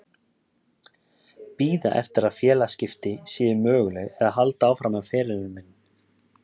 Bíða eftir að félagaskipti séu möguleg eða halda áfram með ferilinn minn?